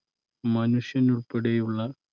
മനുഷ്യൻ ഉൾപ്പെടെയുള്ള